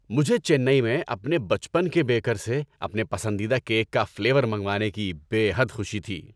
مجھے چنئی میں اپنے بچپن کے بیکر سے اپنے پسندیدہ کیک کا فلیور منگوانے کی بے حد خوشی تھی۔